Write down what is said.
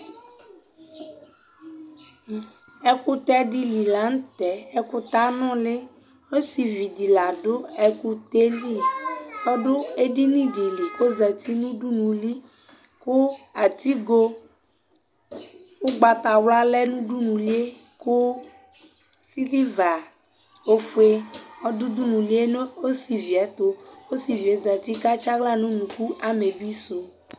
ɛkutɛ di li lantɛ ɛkutɛ anoli osivi di la do ɛkutɛ li ɔdò edini di li k'ozati no udunu li kò atigo ugbata wla lɛ no udunu li yɛ kò silva ofue ɔdò udunu li yɛ no osivi yɛ to osivi yɛ zati k'atsi ala n'unuku amebi su